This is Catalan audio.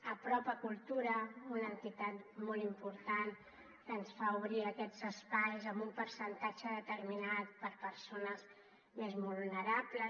apropa cultura una entitat molt important que ens fa obrir aquests espais amb un percentatge determinat per a persones més vulnerables